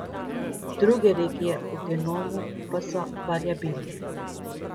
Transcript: Druge regije v genomu pa so variabilne.